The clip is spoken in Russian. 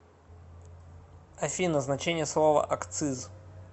афина значение слова акциз